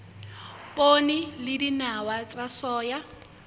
poone le dinawa tsa soya